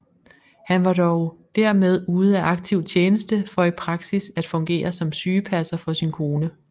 Han var dog dermed ude af aktiv tjeneste for i praksis at fungere som sygepasser for sin kone